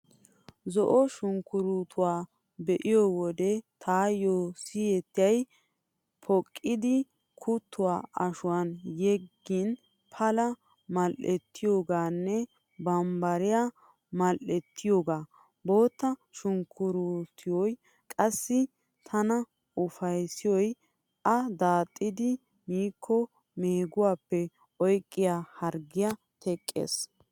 Zo'o sunkkuruutuwa be'iyo wode taayyo siyettiyay poqqidi kuttuwaa ashuwaan yeggin Pala mal"ettiyoogaanne bambbariyaa mal"ettiyoogaa. Bootta sunkkuruuttoy qassi tana ufayssiyoy a daaxxidi miikko meeguwappe oyqqiyaa harggiyaa teqqees.